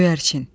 Göyərçin.